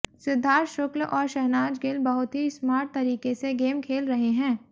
सिद्धार्थ शुक्ल और शहनाज़ गिल बहुत ही स्मार्ट तरीके से गेम खेल रहे हैं